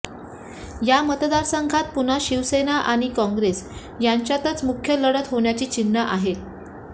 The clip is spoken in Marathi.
या मतदारसंघात पुन्हा शिवसेना आणि काँग्रेस यांच्यातच मुख्य लढत होण्याची चिन्ह आहेत